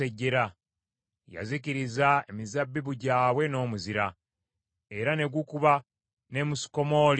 Yazikiriza emizabbibu gyabwe n’omuzira, era ne gukuba n’emisukomooli gyabwe.